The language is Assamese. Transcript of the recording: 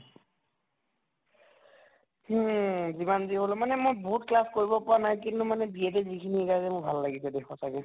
হুম যিমান যি হʼলেও মানে মই বহুত class কৰিব পৰা নাই কিন্তু মানে B Ed য়ে যিখিনি শিকাইছে মোৰ ভাল লাগিছে দে সঁচাকে